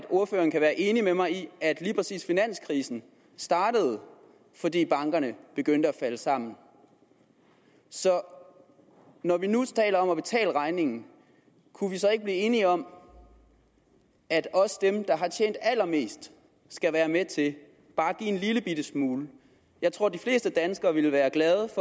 ordføreren kan være enig med mig i at lige præcis finanskrisen startede fordi bankerne begyndte at falde sammen så når vi nu taler om at betale regningen kunne vi så ikke blive enige om at også dem der har tjent allermest skal være med til bare at give en lillebitte smule jeg tror de fleste danskere ville være glade